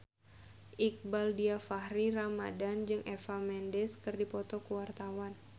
Iqbaal Dhiafakhri Ramadhan jeung Eva Mendes keur dipoto ku wartawan